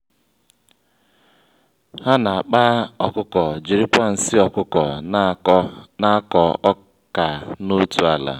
ha na-akpa ọkụkọ jiri kwa nsị ọkụkọ n'akọ ọkà n'otu ala.